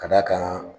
Ka d'a kan